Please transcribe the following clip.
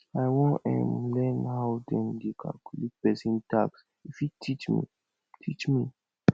i wan um learn how dem dey calculate pesin tax you fit teach me teach me